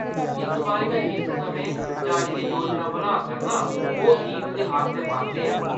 इस बारी में जिस समें जाने दी योजना बनाऽ करनां ओह्‌‌ ईद दे आस्सै-पास्सै ऐ।